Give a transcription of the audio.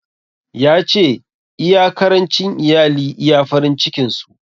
Ya ce, iya karancin iyali iya farin cikin su.